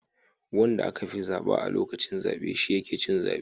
Wanda aka fi zaba a lokacin zabe shi yake cin zaben